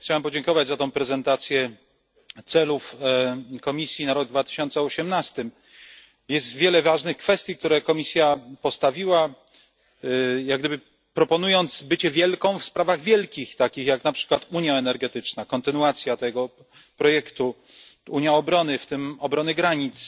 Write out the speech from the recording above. Chciałem podziękować za tę prezentację celów Komisji na rok 2018. Jest wiele ważnych kwestii, które Komisja postawiła, proponując jak gdyby bycie wielką w sprawach wielkich, takich na przykład jak unia energetyczna, kontynuacja tego projektu, Unia Obrony, w tym obrony granic